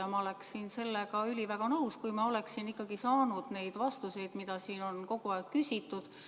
Ja ma oleksin sellega üliväga nõus, kui ma oleksin saanud neid vastuseid, mida siin on kogu aeg küsitud.